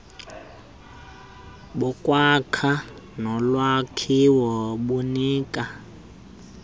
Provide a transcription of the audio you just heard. bokwakha nolwakhiwo bunika